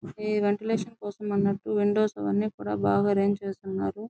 ఇవి వెంటిలేషన్ కోసం అన్నట్టు విండోస్ అవన్నీ కూడా బాగా ఆరెంజ్ చేసి ఉన్నారు.